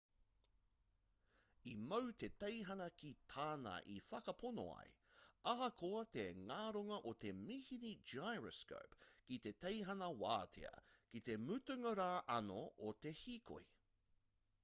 i mau te teihana ki tāna i whakapono ai ahakoa te ngaronga o te mīhini gyroscope ki te teihana wātea ki te mutunga rā anō o te hīkoi